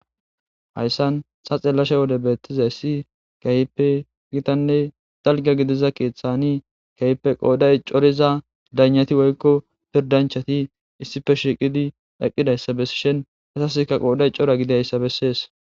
hayssan sa xellashe wode beettiza issi kayipe gitanne zalga gidiza keeththani kayipe qooday coriza danati woykko pirdanchati issife shiqidi eqqidayssa bessishin hesaskka qooday cora gidayssa bessees